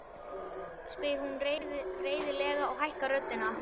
spyr hún reiðilega og hækkar röddina.